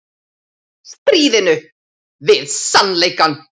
Stríðinu við sannleikann